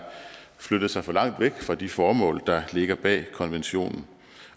flyttet sig for langt væk fra de formål der ligger bag konventionen